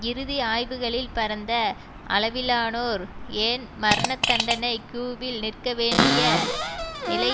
இறுதி ஆய்வுகளில் பரந்த அளவிலானோர் ஏன் மரணதண்டனை கியூவில் நிற்கவேண்டிய நிலை